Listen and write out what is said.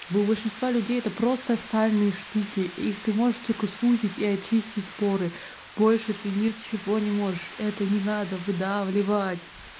у большинства людей это просто ссальные штуки их ты можешь только сузить и очистить поры больше ты ничего не можешь это не надо выдавливать